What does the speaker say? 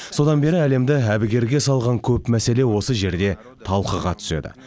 содан бері әлемді әбігерге салған көп мәселе осы жерде талқыға түседі